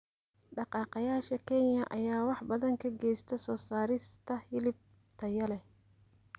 Dhaqaaqayaasha Kenya ayaa wax badan ka geysta soo saarista hilib tayo leh.